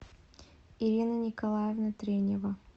ирина николаевна тренева